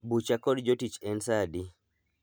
Bucha kod jotich en saa adi?